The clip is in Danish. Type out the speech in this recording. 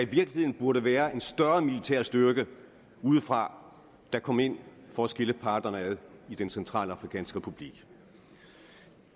burde være en større militær styrke udefra der kom ind for at skille parterne ad i den centralafrikanske republik